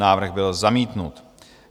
Návrh byl zamítnut.